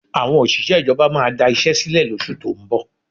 Àwọn òṣìṣẹ́ ìjọba máa da iṣẹ́ sílẹ̀ lóṣù tó ń bọ̀